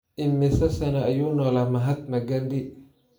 Immisa sano ayuu noolaa mahatma gandhi?